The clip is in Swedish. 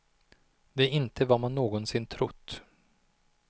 Det är inte vad man någonsin trott.